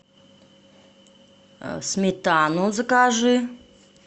сметану закажи